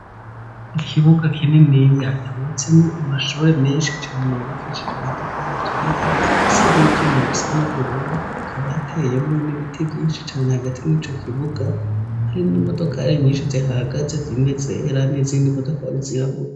Ikibuga kininiya, cubatsemwo amashure menshi cane, yubakishije matafari aturiye, afise n'ivyuma bisa n'ubururu, hakaba hateyemwo n'ibiti vyinshi cane hagati muri ico kibuga, harimwo imodokari nyinshi zihahagaze, zimwe zera n’izindi modokari zirabura.